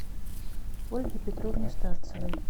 ольге петровне старцевой